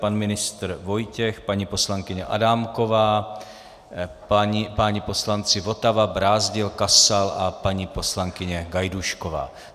Pan ministr Vojtěch, paní poslankyně Adámková, páni poslanci Votava, Brázdil, Kasal a paní poslankyně Gajdůšková.